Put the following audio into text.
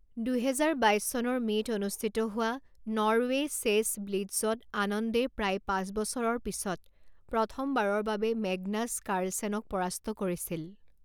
দুহেজাৰ বাইছ চনৰ মে'ত অনুষ্ঠিত হোৱা নৰৱে' চেছ ব্লিটজত আনন্দে প্ৰায় পাঁচ বছৰৰ পিছত প্ৰথমবাৰৰ বাবে মেগনাছ কাৰ্লচেনক পৰাস্ত কৰিছিল।